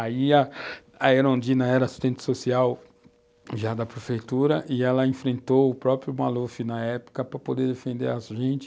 Aí a Erundina era assistente social já da prefeitura e ela enfrentou o próprio Maluf na época para poder defender a gente.